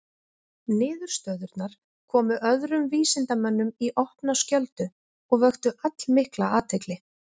Niðurstöðurnar komu öðrum vísindamönnum í opna skjöldu og vöktu allmikla athygli.